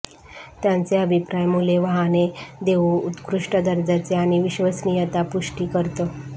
त्यांचे अभिप्राय मुले वाहने देऊ उत्कृष्ट दर्जाचे आणि विश्वसनीयता पुष्टी करतो